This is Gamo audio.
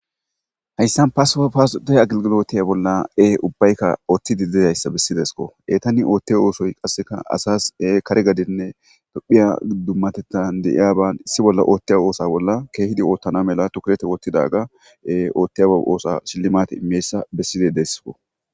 Hayssan pase pas doya aglgilotiya bolla ee ubbaykka ooththidi dezayssa bessidesko eetani oothte oosoy qasseka asas e kare gadinne dophiya dummatettan deiya ban issi bolla ootteya oosa bolla keehidi oottana mela tukurete wottidaga oothtiyaa oosa shillimate imeyssa bessidi deessko.